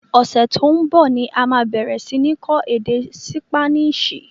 Ọsẹ to ń bọ̀ ni a máa bẹ̀rẹ̀ si ni kọ́ èdè Sípáníìṣì